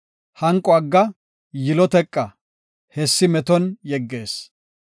Hanqo agga; yilo teqa; hessi meton yeggees.